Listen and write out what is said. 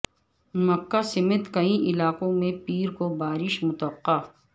مکہ سمیت کئی علاقوں میں پیر کو بارش متوقع